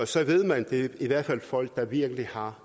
så ved man at det i hvert fald er folk der virkelig har